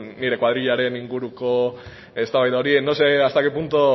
nire koadrilaren inguruko eztabaida hori no sé hasta qué punto